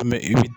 Mɛ i bɛ